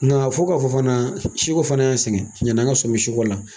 Nka fo k'a fɔ fana si ko fana y'an sɛgɛn yanni an ka sɔmi si ko la